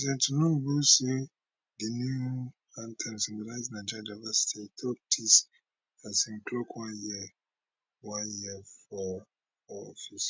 president tinubu say di new anthem symbolize nigeria diversity e tok dis as im clock one year one year for